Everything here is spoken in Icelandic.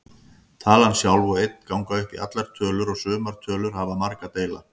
Talan sjálf og einn ganga upp í allar tölur og sumar tölur hafa marga deila.